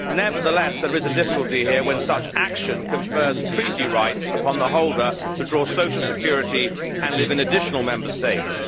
Nevertheless, there is a difficulty here when such action confers treaty rights upon the holder to draw social security and live in other Member States.